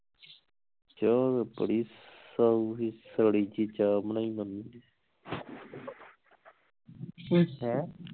ਚਾ ਬੜੀ ਸਾਊ ਸੀ ਕਾਲੀ ਜਿਹੀ ਚਾ ਬਣਾਈ ਮੰਮੀ ਨੇ ਹੈਂ